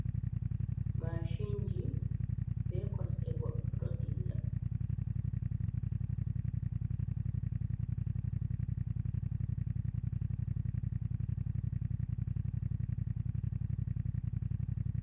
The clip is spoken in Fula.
Maacinji be kosɗe, goɗɗo ɗo dilla.